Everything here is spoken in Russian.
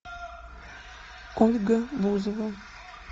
ольга бузова